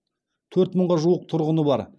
төрт мыңға жуық тұрғыны бар